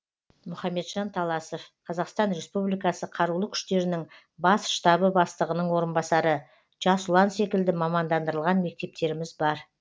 мұхамеджан таласов қазақстан республикасы қарулы күштерінің бас штабы бастығының орынбасары жас ұлан секілді мамандандырылған мектептеріміз бар